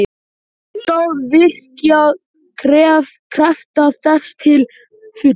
Alltaf virkjað krafta þess til fulls.